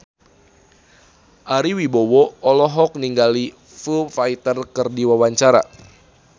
Ari Wibowo olohok ningali Foo Fighter keur diwawancara